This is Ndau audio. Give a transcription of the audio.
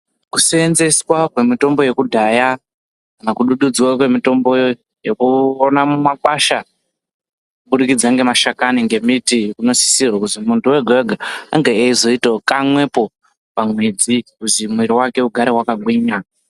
Ku senzeswa kwe mitombo yekudhaya kana ku dududzwa kwe mitombo yeku ona mu makwasha kubudikidza nge mashakani nge miti uno sisirwe kuzi muntu wega wega ange eyi zoitawo kamwepo pa mwedzi kuzi mwiri wake ugare waka gwinya.